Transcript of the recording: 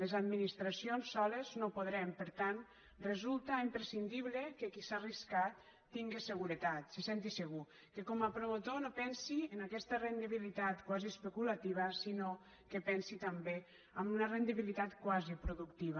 les administracions soles no podrem per tant resulta imprescindible que qui s’ha arriscat tingui seguretat se senti segur que com a promotor no pensi en aquesta rendibilitat quasi especulativa sinó que pensi també en una rendibilitat quasi productiva